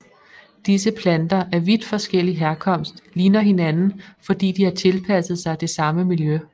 Disse planter af vidt forskellig herkomst ligner hinanden fordi de har tilpasset sig det samme miljø